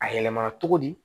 A yɛlɛmara cogo di